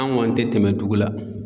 An gɔni tɛ tɛmɛ dugu la